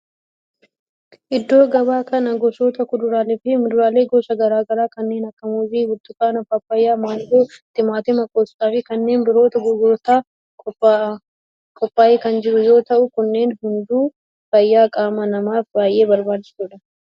Iddoo gabaa kana gosoota kuduraalee fi muduraalee gosa garaa garaa kanneen akka muuzii, burtukaana, paappayyaa, maangoo, timaatima, qoosxaa fi kanneen birootu gurgurtaaf qophaa'ee kan jiru yoo ta'u kunneen hunduu fayyaa qaama namaaf baayyee barbaachisoodha.